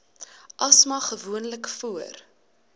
asma gewoonlik voor